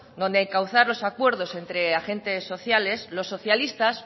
donde encauzar los acuerdos entre agentes sociales los socialistas